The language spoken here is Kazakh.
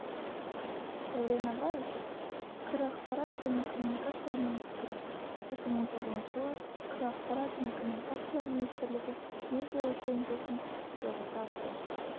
дәурен абаев қр ақпарат және коммуникациялар министрі екі мың он тоғызыншы жылы қр ақпарат және коммуникациялар министрлігі медиа өлшем жүйесін іске қосады